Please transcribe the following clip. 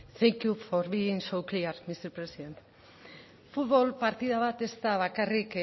hitza thank you for being so clear mister president futbol partida bat ez da bakarrik